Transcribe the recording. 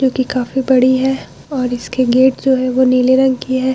जो की काफी बड़ी है और इसके गेट जो है वो नीले रंग की है।